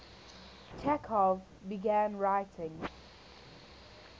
chekhov began writing